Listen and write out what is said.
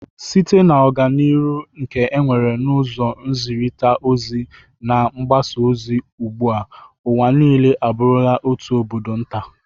Site na ọganiru nke enwere n'ụzọ nzịrịta ozi na mgbasa ozi ugbụa, ụwa niile abụrula otu obodo nta.